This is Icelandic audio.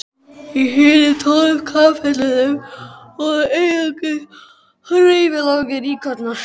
Í hinum tólf kapellunum voru einungis hreyfanlegir íkonar.